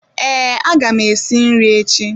Ee aga m esi nri echi